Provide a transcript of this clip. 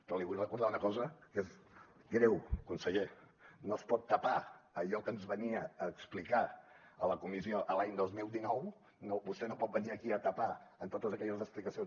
però li vull recordar una cosa que és greu conseller no es pot tapar allò que ens venia a explicar a la comissió l’any dos mil dinou vostè no pot venir aquí a tapar amb totes aquelles explicacions